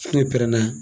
N'o pɛrɛnna